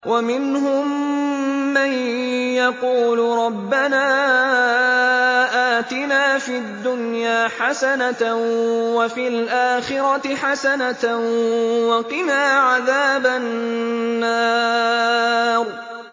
وَمِنْهُم مَّن يَقُولُ رَبَّنَا آتِنَا فِي الدُّنْيَا حَسَنَةً وَفِي الْآخِرَةِ حَسَنَةً وَقِنَا عَذَابَ النَّارِ